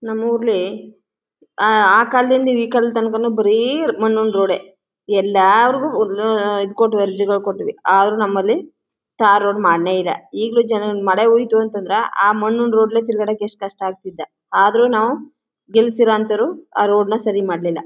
ನಮ್ಮೂರಲ್ಲಿ ಆ ಆ ಕಾಲದಿಂದ ಈ ಕಾಲದವರೆಗೂ ಬರೀ ಮಣ್ಣಿನ ರೋಡೇ ಎಲ್ಲ್ಲಾರಿಗೂ ಇದ್ ಕೊಟ್ಟಿದೆ ಅರ್ಜಿ ಕೊಟ್ಟಿದೆ ಆದರೂ ನಮ್ಮಲ್ಲಿ ಟಾರ್ ರೋಡ್ ಮಾಡಲೇ ಇಲ್ಲ ಈಗಲೂ ಜನ ಮಳೆ ಹೋಯ್ತು ಅಂತ ಅಂದ್ರ ಆ ಮಣ್ಣಿನ ರೋಡ್ ನಲ್ಲಿ ತಿರುಗಾಡಕೆ ಎಷ್ಟು ಕಷ್ಟ ಆಗಿತ್ತ ಆದರೂ ನಾವು ಗೆಲ್ಲಿಸಿರೊಂತವರು ಆ ರೋಡ್ ನ ಸರಿ ಮಾಡ್ಲಿಲ್ಲ.